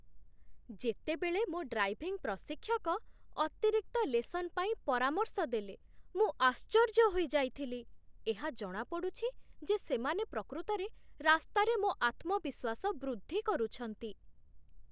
ଯେତେବେଳେ ମୋ ଡ୍ରାଇଭିଂ ପ୍ରଶିକ୍ଷକ ଅତିରିକ୍ତ ଲେସନ୍ ପାଇଁ ପରାମର୍ଶ ଦେଲେ, ମୁଁ ଆଶ୍ଚର୍ଯ୍ୟ ହୋଇଯାଇଥିଲି। ଏହା ଜଣାପଡ଼ୁଛି ଯେ ସେମାନେ ପ୍ରକୃତରେ ରାସ୍ତାରେ ମୋ ଆତ୍ମବିଶ୍ୱାସ ବୃଦ୍ଧି କରୁଛନ୍ତି